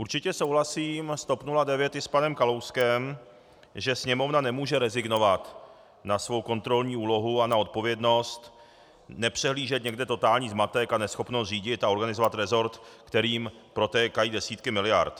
Určitě souhlasím s TOP 09 i s panem Kalouskem, že Sněmovna nemůže rezignovat na svou kontrolní úlohu a na odpovědnost, nepřehlížet někde totální zmatek a neschopnost řídit a organizovat rezort, kterým protékají desítky miliard.